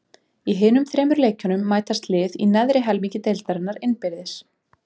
Í hinum þremur leikjunum mætast lið í neðri helmingi deildarinnar innbyrðis.